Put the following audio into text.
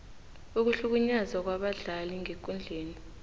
ukuhlukunyezwa kwabadlali ngekundleni